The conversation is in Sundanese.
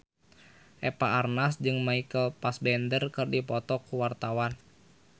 Eva Arnaz jeung Michael Fassbender keur dipoto ku wartawan